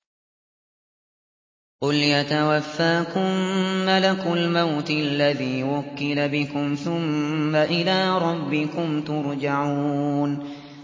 ۞ قُلْ يَتَوَفَّاكُم مَّلَكُ الْمَوْتِ الَّذِي وُكِّلَ بِكُمْ ثُمَّ إِلَىٰ رَبِّكُمْ تُرْجَعُونَ